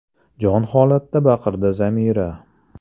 – jon holatda baqirdi Zamira.